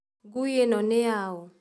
Nguĩ ĩno nĩ yaũ?